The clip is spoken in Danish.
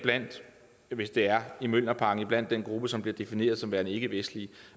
hvis det er i mjølnerparken den gruppe som bliver defineret som værende ikkevestlig